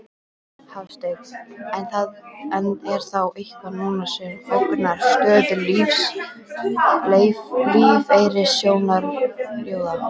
Hafsteinn: En er þá eitthvað núna sem ógnar stöðu lífeyrissjóðanna?